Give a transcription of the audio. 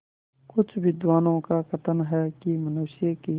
कुछ विद्वानों का कथन है कि मनुष्य की